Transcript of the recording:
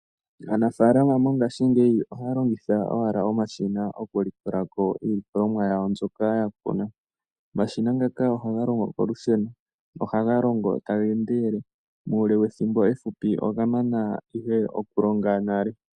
Aanafalama mongashingeyi ohaya longitha owala omashina oku likola ko iilikolomwa yawo mbyoka ya kuna. Omashina ngaka ohaga longo kolusheno nohaga longo taga endelele muule wethimbo ehupi oga mana nale.